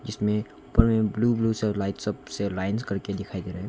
इसमें ऊपर में ब्लू ब्लू सा लाइट सब से लाइंस करके दिखाई दे रहा है।